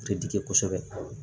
Te digi kosɛbɛ